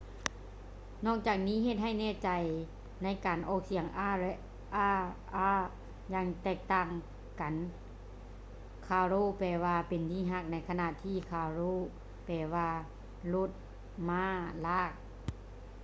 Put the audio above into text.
ນອກຈາກນີ້ ເຮັດໃຫ້ແນ່ໃຈໃນການອອກສຽງ r ແລະ rr ຢ່າງແຕກຕ່າງກັນ: ຄາໂຣ caro ແປວ່າ ເປັນທີ່ຮັກ ໃນຂະນະທີ່ ຄາຣ໌ໂຣ carro ແປວ່າ ລົດມ້າລາກ